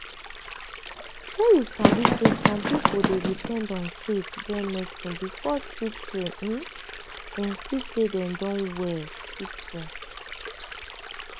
shey you sabi say some pipo dey depend on faith join medicine before true true um dem feel say dem don well true true.